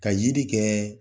Ka yiri kɛ